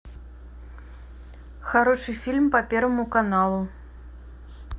хороший фильм по первому каналу